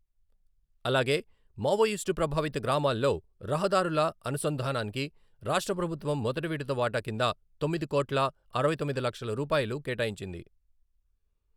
అలాగే మావోయిస్టు ప్రభావిత గ్రామాల్లో రహదారుల అనుసంధానానికి రాష్ట్ర ప్రభుత్వం మొదటి విడత వాటా కింద తొమ్మిది కోట్ల అరవై తొమ్మిది లక్షలు రూపాయలు కేటాయించింది.